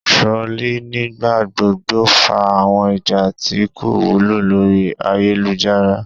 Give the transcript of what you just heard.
Trolling nigbagbogbo fa awọn ija ti ko wulo lori ayelujara